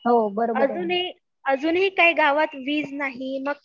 अजूनही, अजूनही काही गावात वीज नाही